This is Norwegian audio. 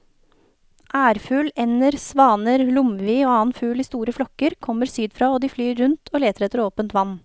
Ærfugl, ender, svaner, lomvi og annen fugl i store flokker kommer sydfra og de flyr rundt og leter etter åpent vann.